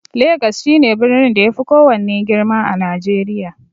Legas shi ne birnin da ya fi kowanne girma a najeriya